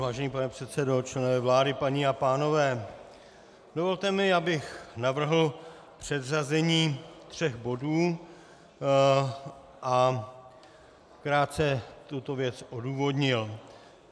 Vážený pane předsedo, členové vlády, paní a pánové, dovolte mi, abych navrhl předřazení tří bodů a krátce tuto věc odůvodnil.